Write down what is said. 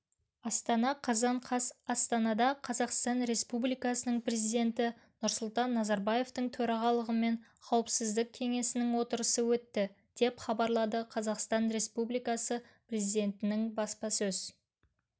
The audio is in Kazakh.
астана қазан қаз астанада қазақстан республикасының президенті нұрсұлтан назарбаевтың төрағалығымен қауіпсіздік кеңесінің отырысы өтті деп хабарлады қазақстан республикасы президентінің баспасөз